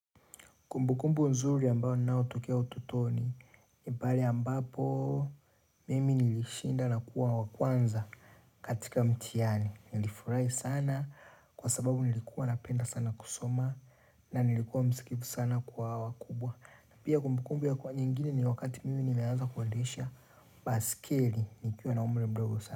Kumbukumbu nzuri ambao ninaotokea ututoni ni pale ambapo Mimi nilishinda na kuwa wa kwanza katika mtihani Nilifurahi sana Kwa sababu nilikuwa napenda sana kusoma na nilikuwa msikivu sana kwa wakubwa Pia kumbukumbu ya kuwa nyingine ni wakati mimi nimeanza kuendesha baiskeli nikiwa na umri mdogo sana.